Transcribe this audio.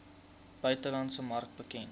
buitelandse mark bekend